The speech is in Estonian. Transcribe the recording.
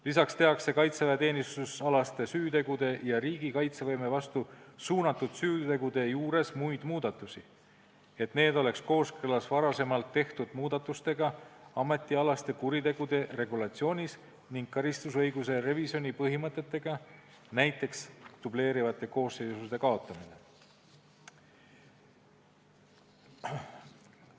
Lisaks tehakse kaitseväeteenistusalaste süütegude ja riigi kaitsevõime vastu suunatud süütegude juures veel muidki muudatusi, et need oleks kooskõlas ametialaste kuritegude regulatsioonis varem tehtud muudatustega ning karistusõiguse revisjoni põhimõtetega, näiteks dubleerivate koosseisude kaotamine.